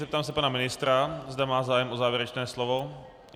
Zeptám se pana ministra, zda má zájem o závěrečné slovo.